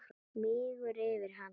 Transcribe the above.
Mígur yfir hana.